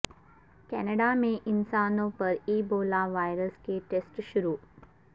Canada میں انسانوں پر ایبولا وائرس کے ٹیسٹ شروع